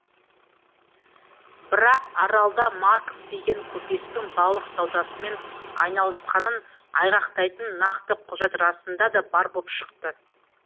бірақ аралда марков деген көпестің балық саудасымен айналысқанын айғақтайтын нақты құжат расында да бар боп шықты